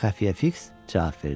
Xəfiyə Fiks cavab verdi.